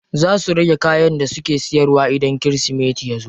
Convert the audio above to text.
Za su rage kayan da suke siyarwa idan kirismeti yazo.